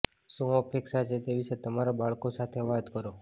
શું અપેક્ષા છે તે વિશે તમારા બાળકો સાથે વાત કરો